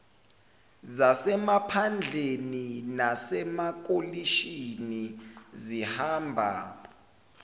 zasemaphandleni nasemalokishini zihamba